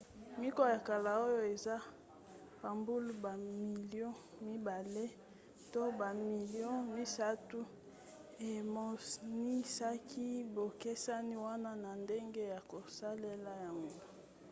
mikwa ya kala oyo esa bambula bamilio mibale to bamilio misato emonisaki bokeseni wana na ndenge ya kosalela yango